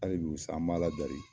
Hali bi sa an ba Ala dari.